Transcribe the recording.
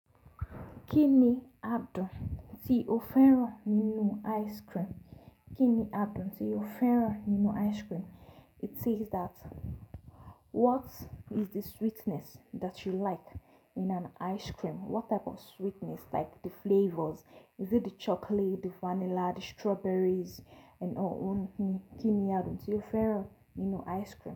Kí ni àádùn tí o fẹ́ràn nínú ice cream? Kí ni àádùn tí o fẹ́ràn nínú ice cream? It says that what is the sweetness that you like in an ice cream? What type of sweetness like the flavors? Is it the chocolate, the vanilla, the strawberries, and all. Kí ni àádùn tí o fẹ́ràn nínú ice cream?